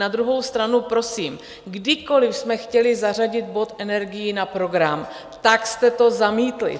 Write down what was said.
Na druhou stranu prosím, kdykoli jsme chtěli zařadit bod energií na program, tak jste to zamítli.